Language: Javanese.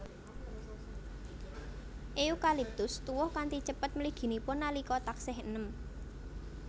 Eukaliptus tuwuh kanthi cepet mliginipun nalika taksih eném